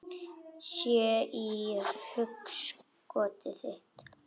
Sé í hugskot þitt.